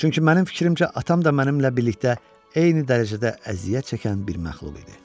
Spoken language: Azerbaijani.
Çünki mənim fikrimcə, atam da mənimlə birlikdə eyni dərəcədə əziyyət çəkən bir məxluq idi.